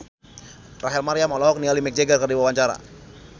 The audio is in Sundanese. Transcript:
Rachel Maryam olohok ningali Mick Jagger keur diwawancara